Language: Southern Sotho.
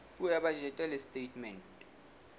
puo ya bajete le setatemente